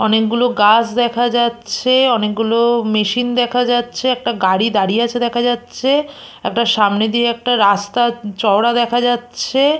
অনেকগুলো গাছ দেখা যাচ্ছে অনেকগুলো মেশিন দেখা যাচ্ছে একটা গাড়ি দাঁড়িয়ে আছে দেখা যাচ্ছে একটা সামনে দিয়ে একটা রাস্তা চওড়া দেখা যাচ্ছে।